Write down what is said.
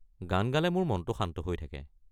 গান গালে মোৰ মনটো শান্ত হৈ থাকে।